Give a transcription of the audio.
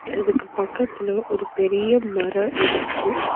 இதுக்கு பக்கத்தில ஒரு பெரிய மர இருக்கு.